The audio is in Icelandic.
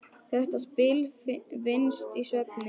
Þetta spil vinnst í svefni.